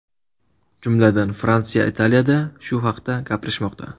Jumladan, Fransiya, Italiyada shu haqda gapirishmoqda.